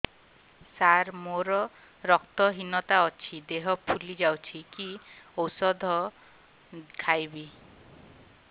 ସାର ମୋର ରକ୍ତ ହିନତା ଅଛି ଦେହ ଫୁଲି ଯାଉଛି କି ଓଷଦ ଖାଇବି